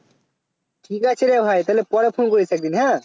ঠিক আছে রে ভাই তাহলে পরে Phone করিস একদিন হ্যাঁ